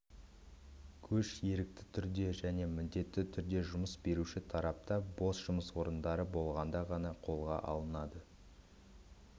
көш ерікті түрде және міндетті түрде жұмыс беруші тарапта бос жұмыс орындары болғанда ғана қолға алынады